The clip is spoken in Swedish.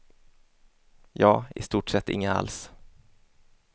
Ja, i stort sett inga alls.